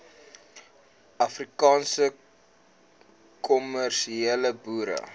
afrikaanse kommersiële boere